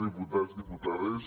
diputats diputades